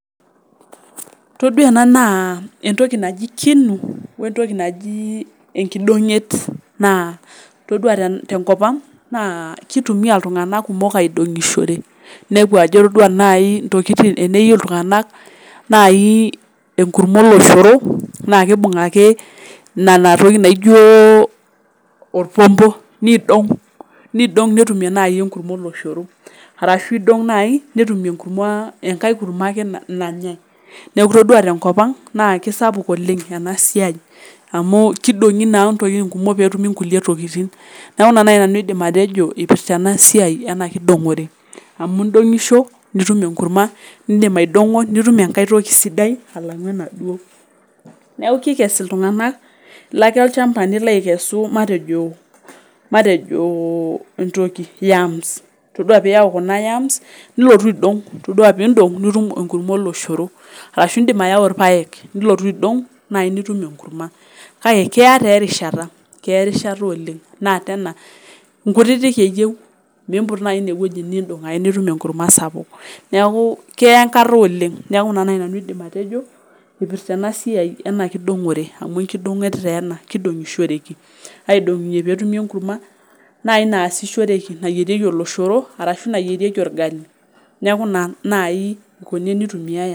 Itodua ena naa entoki naji kinu o entoki najii enkidong'et, naa itodua te nkopang' naa keitumiya ltunganak kumok aidong'ishore, neaku ajo itodua naii intokitin eneyu ltunganak naii enkurumwa eloshoro naa keibung' ake nena ntokitin naijo olpompo neidong' netum naii enkurumwa eloshoro arashu eidong'a nai netum ekurumwa enkae kurumwa ake nanyei, naaku itodua te nkopang naa kesapuk oleng ena siai amuu keidong'i naa ntokitin kumok peetum naa inkule tokitin, naaku ina naaii aidim nanu atejo eipirta ena siai ena kidong'ore amu indong'isho nitum enkurumwa, nindim aidong'o nitum enkae toki sidai ekang'u enaduo, naaku keikes ltunganak naake ilchamba nilo aikesu matejo entoki yams, itodua piiyau kuna yams nilotu aidong',itodua piindong' nitum enkurumwa eloshoro, arashu iindim ayau ilpaek nilotu aidong' nai nitum enkurumwa, kake keya taa erishata oleng naa tena nkutitik eyeu. miimput naii i eweji niindong' ake nitum enkurumwa sapuk, neaku keya enkata oleng, naaku nena naii aidim nanu atejo, eipirta ena siai ena kidong'ore amu enkidong'et taa ena, keidong'ishoreki, aidong'ie peetumi enkurumwa naii naasishoreki, nayiereki oloshoro arashu nayiereki olgsli, naaku naa naii nkunini eitumiaya.